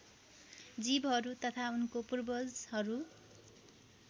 जीवहरू तथा उनको पूर्वजहरू